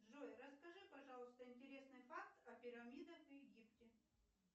джой расскажи пожалуйста интересный факт о пирамидах в египте